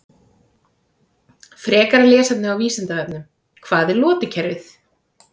Frekara lesefni á Vísindavefnum: Hvað er lotukerfið?